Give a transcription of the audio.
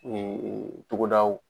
Ɛɛ togodaw